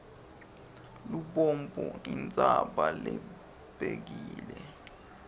lubombo intsaba lebekile